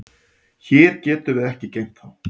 Hér getum við ekki geymt þá.